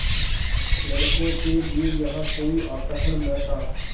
लड़कों के लिए यहाँ कोई आकर्षण न था